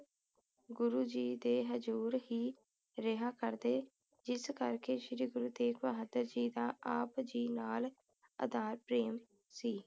ਗਰੂ ਜੀ ਦੇ ਹਜ਼ੂਰ ਹੀ ਰਿਹਾ ਕਰਦੇ ਜਿਸ ਕਰਕੇ ਸ਼੍ਰੀ ਗੁਰੂ ਤੇਗ਼ ਬਹਾਦਰ ਜੀ ਦਾ ਆਪ ਜੀ ਨਾਲ ਅਥਾਹ ਪ੍ਰੇਮ ਸੀ